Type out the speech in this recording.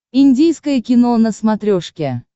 индийское кино на смотрешке